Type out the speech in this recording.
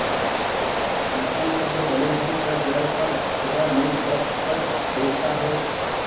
इन्सान सब्र भले ही कर जाय पर खुदा नेकबद सब देखता है